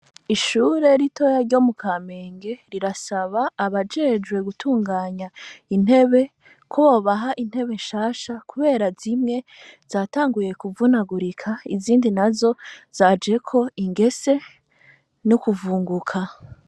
Ishure ritoya ryo mu Kamenge rirasaba abajejwe gutunganya intebe ko bobaha intebe nshasha, kubera zimwe zatanguye kuvunagurika, izindi nazo zajeko ingese no kuvunguka.